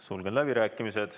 Sulgen läbirääkimised.